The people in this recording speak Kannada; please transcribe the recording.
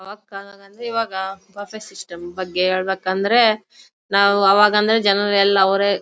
ಈವಾಗ ಬಫ್ಫ್ ಸಿಸ್ಟಮ್ ಬಗ್ಗೆ ಹೇಳಬೇಕಂದ್ರೆ ನಾವು ಆವಾಗ್ ಅಂದ್ರೆ ಜನರೆಲ್ಲಾ ಅವ್ರೆ--